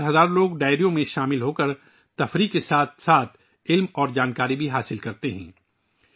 رات بھر ہزاروں لوگ ڈائیرا میں شامل ہوتے ہیں اور تفریح کے ساتھ ساتھ علم بھی حاصل کرتے ہیں